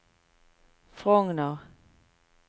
Frogner